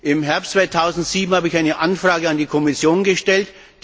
Im Herbst 2007 habe ich eine Anfrage an die Kommission gestellt.